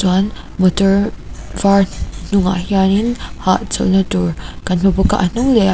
uan motor var hnungah hianin hawhchawlh na tur kan hmu bawk a a hnung leh a--